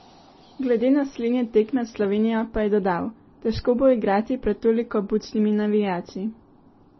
Glede naslednje tekme s Slovenijo pa je dodal: "Težko bo igrati pred toliko bučnimi navijači.